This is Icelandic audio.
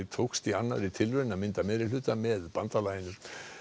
tókst í annarri tilraun að mynda meirihluta með bandalaginu